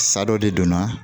Sa dɔ de donna